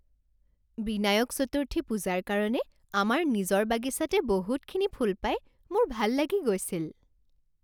বিনায়ক চতুৰ্থী পূজাৰ কাৰণে আমাৰ নিজৰ বাগিচাতে বহুতখিনি ফুল পাই মোৰ ভাল লাগি গৈছিল।